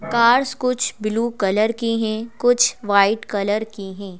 Cars कुछ blue colour की है कुछ व्हाइट कलर की है।